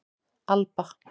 Alba